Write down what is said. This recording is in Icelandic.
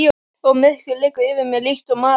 Og myrkrið liggur yfir mér líkt og mara.